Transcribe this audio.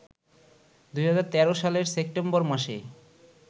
২০১৩ সালের সেপ্টেম্বর মাসেই